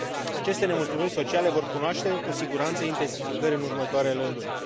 Aceste nemulțumiri sociale vor cunoaște, cu siguranță, intensificări în următoarele luni.